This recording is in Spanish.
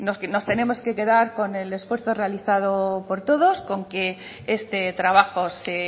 que nos tenemos que quedar con el esfuerzo realizado por todos con que este trabajo se